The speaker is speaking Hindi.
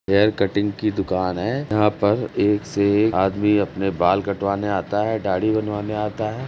हैयर कटिंग की दुकान है। यहां पर एक से एक आदमी अपने बाल कटवाने आता है दाढ़ी बनवाने आता है।